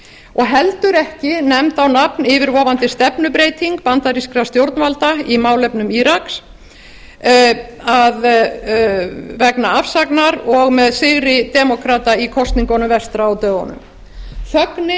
og heldur ekki nefnd á nafn yfirvofandi stefnubreyting bandarískra stjórnvalda í málefnum íraks vegna afsagnar og með sigri demókrata í kosningunum vestra á dögunum þögnin